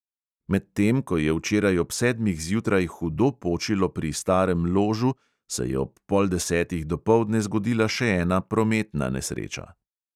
Medtem ko je včeraj ob sedmih zjutraj hudo počilo pri starem ložu, se je ob pol desetih dopoldne zgodila še ena prometna nesreča.